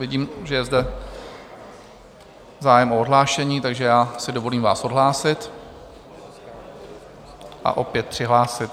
Vidím, že je zde zájem o odhlášení, takže já si dovolím vás odhlásit a opět přihlásit.